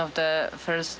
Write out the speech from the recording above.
þessi